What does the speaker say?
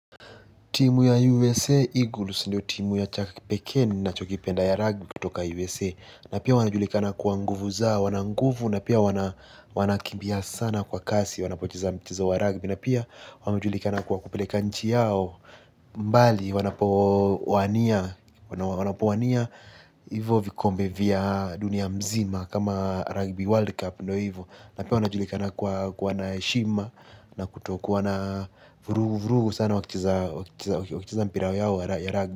Timu ya USA, Eagles, ndio timu ya Chuck Peckin nachokipenda ya rugby kutoka USA. Na pia wanajulikana kwa nguvu zao, wana nguvu, na pia wanakimbia sana kwa kasi, wanapocheza mchezo wa rugby. Na pia wanajulikana kwa kupeleka nchi yao, mbali, wanapowania, wanapowania, hivo vikombe vya dunia mzima kama rugby world cup, ndio hivyo. Na pia wanajulikana kuwa na heshima na kutokuwana vurugu sana wakicheza mpira yao ya rugby.